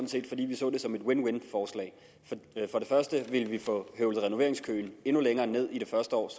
set fordi vi så det som et win win forslag for det første ville vi få høvlet renoveringskøen endnu længere ned i det første år